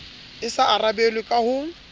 e so arabelwe ka ho